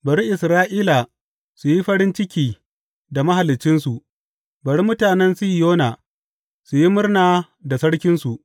Bari Isra’ila su yi farin ciki da Mahaliccinsu; bari mutanen Sihiyona su yi murna da Sarkinsu.